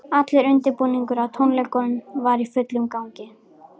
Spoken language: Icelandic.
Allur undirbúningur að tónleikunum var í fullum gangi.